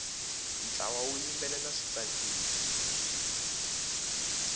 ntlawa wu yimbelela swi tsakisa